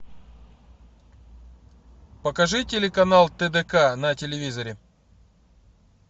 покажи телеканал тдк на телевизоре